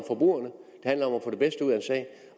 at